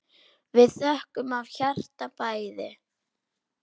Við þökkum af hjarta bæði.